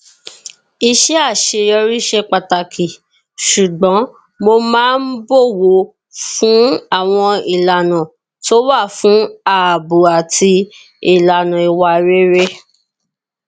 iṣẹ àṣeyọrí ṣe pàtàkì ṣùgbọn mo máa ń bòwò fún àwọn ìlànà tó wà fún ààbò àti ìlànà ìwà rere